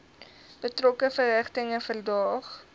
betrokke verrigtinge verdaag